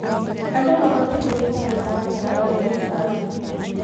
Andũ mabatiĩ kũnyita mũtaratara wa thirikari.